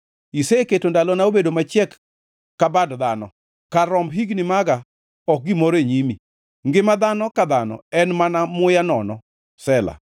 Iseketo ndalona obedo machiek ka bad dhano; kar romb higni maga ok gimoro e nyimi, ngima dhano ka dhano en mana muya nono. Sela